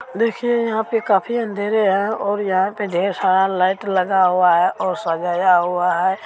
देखिये यहाँ पे काफी अँधेरा है और यहाँ पे ढेर सारा लाइट लगा हुआ है और सजाया हुआ है |